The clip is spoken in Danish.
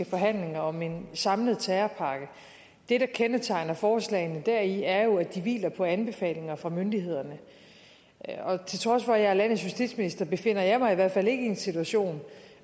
forhandlinger om en samlet terrorpakke det der kendetegner forslagene deri er jo at de hviler på anbefalinger fra myndighederne og til trods for at jeg er landets justitsminister befinder jeg mig i hvert fald ikke i en situation